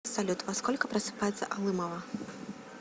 салют во сколько просыпается алымова